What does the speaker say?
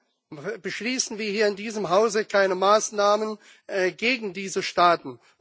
Warum beschließen wie hier in diesem Hause keine Maßnahmen gegen diese Staaten?